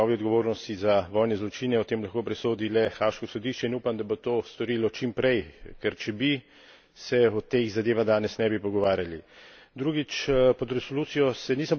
Seveda ne zato, ker bi želel soditi o njegovi odgovornosti za vojne zločine, o tem lahko presodi le haaško sodišče, in upam, da bo to storilo čim prej, ker če bi, se o teh zadevah danes ne bi pogovarjali.